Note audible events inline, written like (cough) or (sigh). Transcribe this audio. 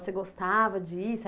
Você gostava? (unintelligible)